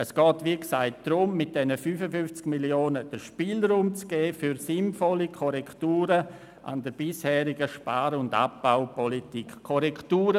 Es geht, wie gesagt, darum, mit diesen 55 Mio. Franken den Spielraum für sinnvolle Korrekturen an der bisherigen Spar- und Abbaupolitik zu schaffen.